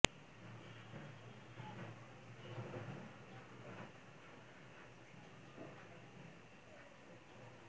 দুই বছর আগে রাজধানীর পান্থপথের হোটেল ওলিও ইন্টারন্যাশনালে অবস্থান নিয়ে জাতীয় শোক দিবসের কর্মসূচিত